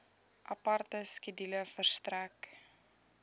aparte skedule verstrek